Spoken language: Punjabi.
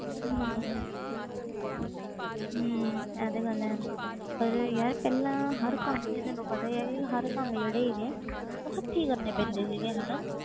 ਆਵੇ ਹੀ ਨਾ ਤੇ ਕਿ ਫਾਇਦਾ